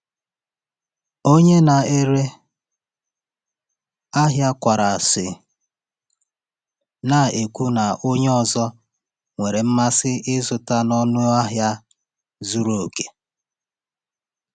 Onye na-ere ahịa kwara isi, na-ekwu na onye ọzọ nwere mmasị ịzụta n’ọnụ ahịa zuru oke.